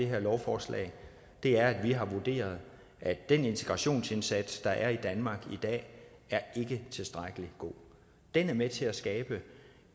her lovforslag er at vi har vurderet at den integrationsindsats der foregår i danmark i dag ikke er tilstrækkelig god den er med til at skabe